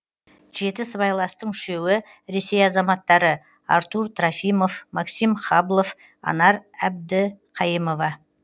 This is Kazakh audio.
жеті сыбайластың үшеуі ресей азаматтары артур трофимов максим хаблов анар әбдіқайымова